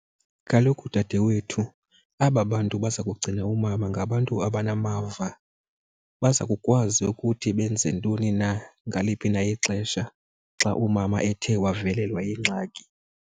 Kaloku dadewethu aba bantu baza kugcina umama ngabantu abanamava, baza kukwazi ukuthi benze ntoni na ngaliphi na ixesha xa umama ethe wavelelwa yingxaki.